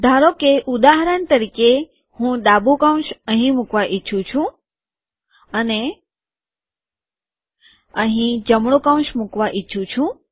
ધારોકે ઉદાહરણ તરીકે હું ડાબુ કૌંસ અહીં મુકવા ઈચ્છું છું અને અહીં જમણું કૌંસ મુકવા ઈચ્છું છું